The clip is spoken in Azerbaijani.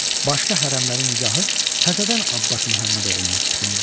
Başqa hərəmlər nigahı təzədən Abbas Məhəmmədoğluna oxundu.